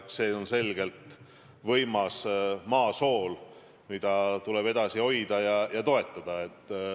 See on selgelt võimas maa sool, mida tuleb edasi hoida ja toetada.